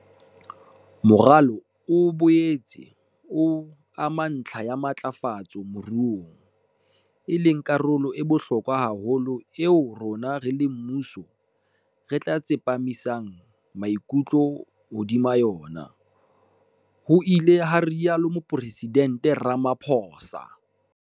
"Moralo o boetse o ama ntlha ya matlafatso moruong, e leng karolo e bohlokwa haholo eo rona, re le mmuso, re tla tsepamisa maikutlo hodima yona," ho ile ha rialo Mopresidente Ramaphosa.